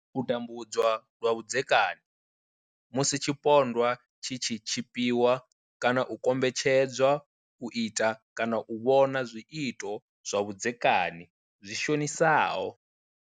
U tambudzwa lwa vhudzekani, Musi tshipondwa tshi tshi tshipiwa kana u kombetshedzwa u ita kana u vhona zwiito zwa vhudzekani zwi shonisaho.